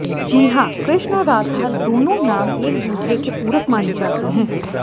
जी हां कृष्ण और राधा दोनों नाम एक दुसरे के पूरक माने जाते हैं